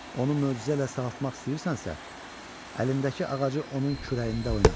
Onu möcüzə ilə sağaltmaq istəyirsənsə, əlindəki ağacı onun kürəyində oynat.